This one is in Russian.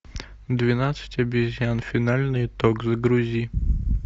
двенадцать обезьян финальный итог загрузи